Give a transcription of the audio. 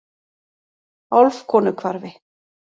Álfkonuhvarfi